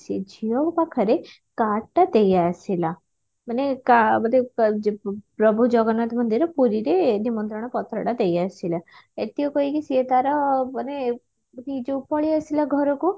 ସେ ଝିଅ ପାଖରେ card ଟା ଦେଇଆସିଲା ମାନେ କା ବୋଧେ ପ୍ରଭୁ ଜଗନ୍ନାଥଙ୍କ ଦେହରେ ପୁରୀରେ ନିମନ୍ତ୍ରଣ ପତ୍ରଟା ଦେଇଆସିଲା ଏତିକି କହିକି ସିଏ ତାର ବୋଧେ ଯଉ ପଳେଇଆସିଲା ଘରକୁ